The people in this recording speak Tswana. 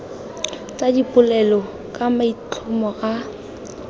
tsa dipolelo ka maitlhomo a